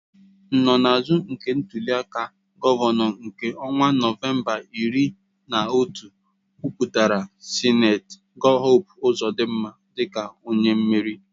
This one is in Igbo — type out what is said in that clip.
Nsonaazụ nke ntuli aka gọvanọ nke ọnwa Nọvemba iri na otu kwupụtara Sen Hope Ozodinma dịka onye meriri.